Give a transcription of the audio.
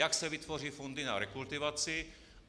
Jak se vytvoří fondy na rekultivaci?